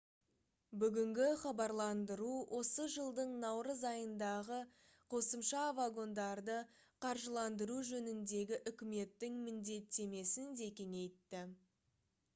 бүгінгі хабарландыру осы жылдың наурыз айындағы қосымша вагондарды қаржыландыру жөніндегі үкіметтің міндеттемесін де кеңейтті